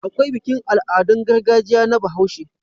Akwai bikin Al'adun gargajiya na bahaushe